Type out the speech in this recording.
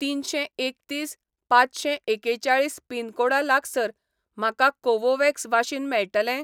तिनशें एकतीस पांचशें एकेचाळीस पिनकोडा लागसार म्हाका कोवोव्हॅक्स वाशीन मेळटलें